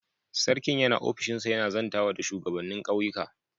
Sarkin yana ofishinsa yana zantawa da shugabanin ƙauyuka.